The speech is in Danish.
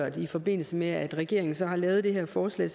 i forbindelse med at regeringen så har lavet det her forslag